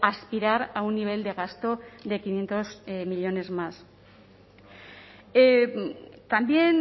aspirar a un nivel de gasto de quinientos millónes más también